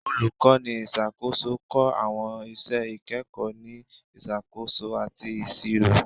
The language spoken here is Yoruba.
Olukọni iṣakoso kọ awọn iṣẹ ikẹkọ ni Isakoso ati Iṣiro